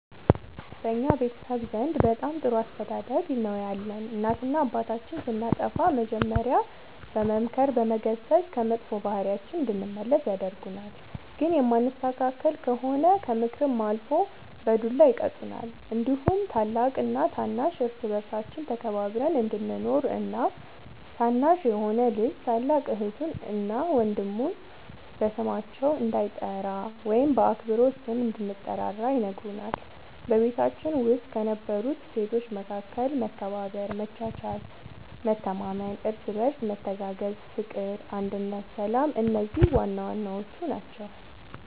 በእኛ ቤተሰብ ዘንድ በጣም ጥሩ አስተዳደግ ነው ያለን እናትና አባታችን ስናጠፋ መጀሪያ በመምከር በመገሰፅ ከመጥፎ ባህሪያችን እንድንመለስ ያደርጉናል ግን የማንስተካከል ከሆነ ከምክርም አልፎ በዱላ ይቀጡናል እንዲሁም ታላቅና ታናሽ እርስ በርሳችን ተከባብረን እንድንኖር እና ታናሽ የሆነ ልጅ ታላቅ እህቱን እና ወንድሙ በስማቸው እንዳይጠራ ወይም በአክብሮት ስም እንድንጠራራ ይነግሩናል በቤታችን ውስጥ ከነበሩት እሴቶች መካከል መከባበር መቻቻል መተማመን እርስ በርስ መተጋገዝ ፍቅር አንድነት ሰላም እነዚህ ዋናዋናዎቹ ናቸው